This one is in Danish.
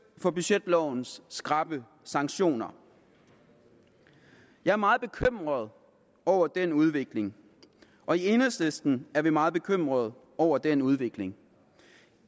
for budgetlovens skrappe sanktioner jeg er meget bekymret over den udvikling og i enhedslisten er vi meget bekymrede over den udvikling